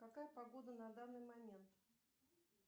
какая погода на данный момент